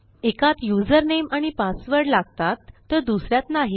एकात युझरनेम आणि पासवर्ड लागतात तर दुस यात नाही